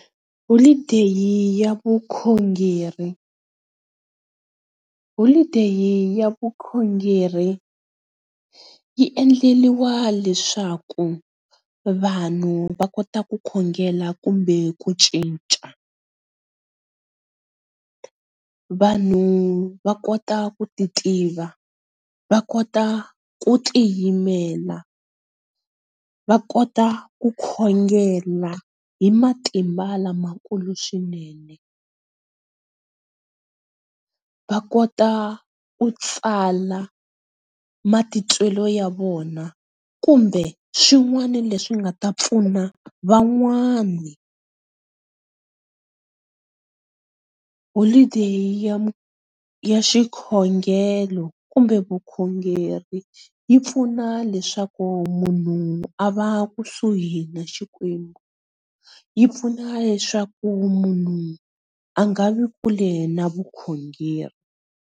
Holiday ya vukhongeri, holiday ya vukhongeri yi endleriwa leswaku vanhu va kota ku khongela kumbe ku cinca. vanhu va kota ku ti tiva, va kota ku tiyimela, va kota ku khongela hi matimba lamakulu swinene, va kota ku tsala matitwelo ya vona kumbe swin'wana leswi nga ta pfuna van'wani. Holiday ya xikhongelo kumbe vukhongeri yi pfuna leswaku munhu a va kusuhi ni xikwembu, yi pfuna leswaku munhu a nga vi kule na vukhongeri.